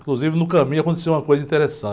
Inclusive, no caminho aconteceu uma coisa interessante.